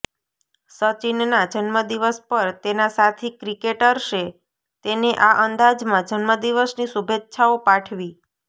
સચિનના જન્મદિવસ પર તેના સાથી ક્રિકેટર્સે તેને આ અંદાજમાં જન્મદિવસની શુભેચ્છાઓ પાઠવી